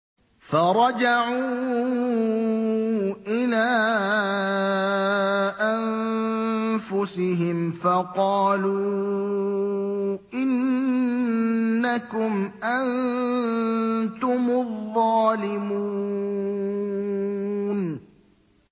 فَرَجَعُوا إِلَىٰ أَنفُسِهِمْ فَقَالُوا إِنَّكُمْ أَنتُمُ الظَّالِمُونَ